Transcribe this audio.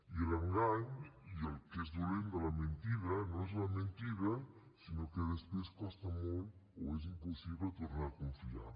i l’engany i el que és dolent de la mentida no és la mentida sinó que després costa molt o és impossible tornar a confiar